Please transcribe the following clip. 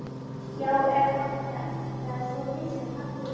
Já, eða þá Ögn, það er svo vinsælt nafn núna.